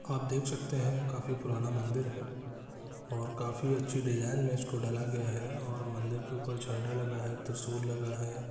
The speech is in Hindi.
आप देख सकते हैं काफी पुराना मंदिर है और काफी अच्छे डिज़ाइन में इसको डाला गया है और मंदिर के ऊपर झंडा लगा है त्रिशूल लगा है।